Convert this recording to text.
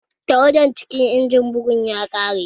Tawada cikin injimin bugun ya ƙare